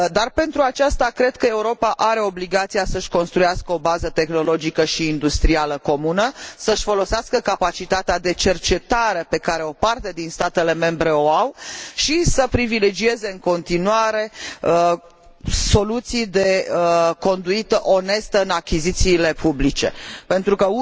Pentru aceasta cred că Europa are obligația să își construiască o bază tehnologică și industrială comună, să își folosească capacitatea de cercetare pe care o parte din statele membre o au și să privilegieze, în continuare, soluții de conduită onestă în achizițiile publice, pentru că